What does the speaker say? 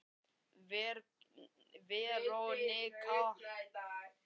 Veronika, hvernig er veðurspáin?